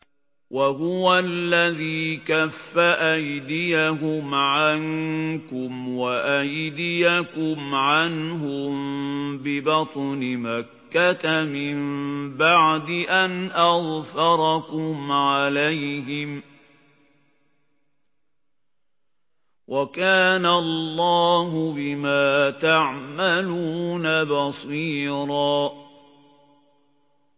وَهُوَ الَّذِي كَفَّ أَيْدِيَهُمْ عَنكُمْ وَأَيْدِيَكُمْ عَنْهُم بِبَطْنِ مَكَّةَ مِن بَعْدِ أَنْ أَظْفَرَكُمْ عَلَيْهِمْ ۚ وَكَانَ اللَّهُ بِمَا تَعْمَلُونَ بَصِيرًا